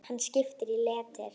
Hann skipar í leitir.